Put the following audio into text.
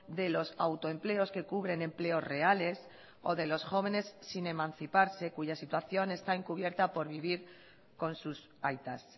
de los autoempleos que cubren empleos reales o de los jóvenes sin emanciparse cuya situación está encubierta por vivir con sus aitas